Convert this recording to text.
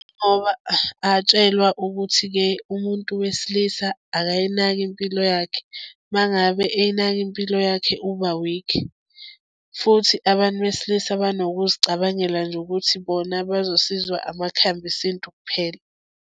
Ngoba abatshelwa ukuthi-ke umuntu wesilisa akayinaki impilo yakhe uma ngabe eyinaka impilo yakhe ubawikhi futhi abantu besilisa banokuzicabangela nje ukuthi bona bazosizwa amakhambi esintu kuphela.